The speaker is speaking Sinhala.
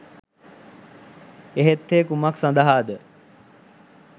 එහෙත් ඒ කුමක් සඳහාද